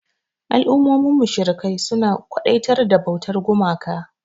Al'ummomin mushrikai suna kwadaitar da bautar gumaka.